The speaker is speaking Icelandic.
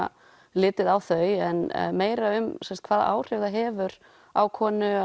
litið á þau en meira um hvaða áhrif það hefur á konu